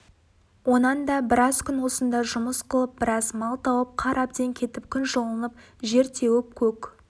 онан да біраз күн осында жұмыс қылып біраз мал тауып қар әбден кетіп күн жылынып жер кеуіп көк